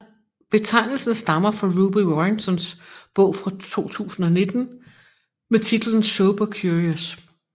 Betegnelsen stammer fra Ruby Warringtons bog fra 2019 med titlen Sober Curious